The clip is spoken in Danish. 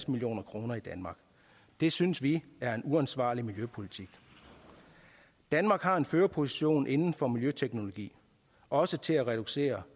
million kroner i danmark det synes vi er en uansvarlig miljøpolitik danmark har en førerposition inden for miljøteknologi også til at reducere